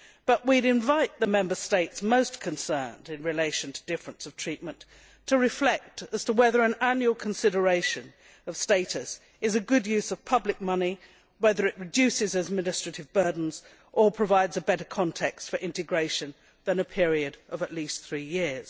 However, we would invite the Member States most concerned in relation to difference of treatment to reflect as to whether an annual consideration of status is a good use of public money, and whether it reduces administrative burdens or provides a better context for integration than a period of at least three years.